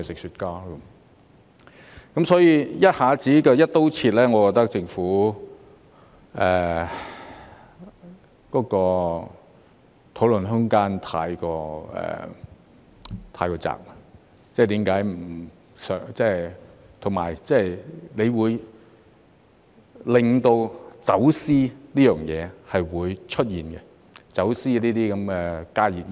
所以，一下子"一刀切"，我覺得政府的討論空間太窄，而且這樣做會令走私活動出現，即走私加熱煙等。